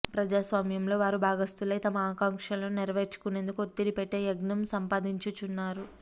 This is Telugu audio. ప్రజాస్వామ్యంలో వారు భాగస్తులై తమ ఆకాంక్షలు నెరవేర్చుకునేందుకు ఒత్తిడి పెట్టే జ్ఞానం సంపాదించుకున్నారు